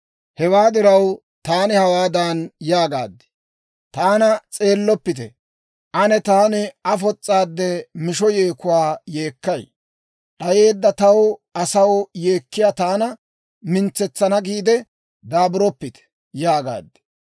Hewaa diraw, taani hawaadan yaagaad; «Taana s'eelloppite; ane taani afos's'aadde misho yeekuwaa yeekkay; d'ayeedda ta asaw yeekkiyaa taana mintsetsana giide daaburoppite» yaagaad.